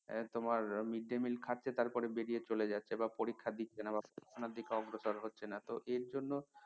উম তোমার mid day mill খাচ্ছে তারপর বেরিয়ে চলে যাচ্ছে বা পরীক্ষা দিচ্ছে না বা অন্য দিকে অগ্রসর হচ্ছেনা তো এর জন্য তো